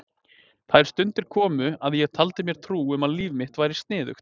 Þær stundir komu að ég taldi mér trú um að líf mitt væri sniðugt.